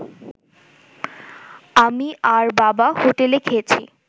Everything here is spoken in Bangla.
আমি আর বাবা হোটেলে খেয়েছি